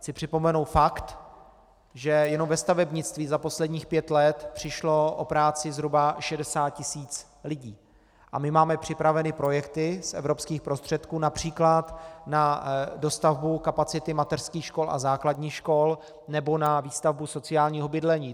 Chci připomenout fakt, že jenom ve stavebnictví za posledních pět let přišlo o práci zhruba 60 tisíc lidí, a my máme připraveny projekty z evropských prostředků například na dostavbu kapacity mateřských škol a základních škol nebo na výstavbu sociálního bydlení.